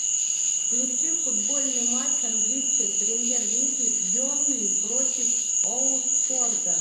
включи футбольный матч английской премьер лиги бернли против уотфорда